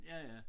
Ja ja